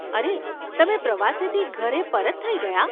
અરે, તમે પ્રવાસેથી ઘરે પરત થઇ ગયા?